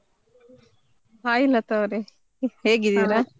Hai ಲತಾವ್ರೆ, ಹೇಗಿದ್ದೀರಾ ?